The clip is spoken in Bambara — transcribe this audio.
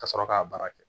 Ka sɔrɔ k'a baara kɛ